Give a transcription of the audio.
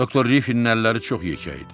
Doktor Riffinin əlləri çox yekə idi.